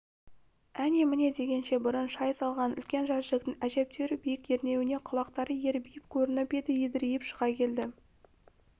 әне-міне дегенше бұрын шай салған үлкен жәшіктің әжептеуір биік ернеуінен құлақтары ербиіп көрініп еді едірейіп шыға келді